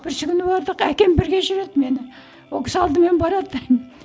бүрсігүні бардық әкем бірге жүреді мені ол кісі алдымен барады